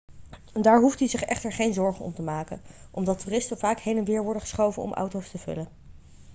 daar hoeft u zich echter geen zorgen om te maken omdat toeristen vaak heen en weer worden geschoven om auto's te vullen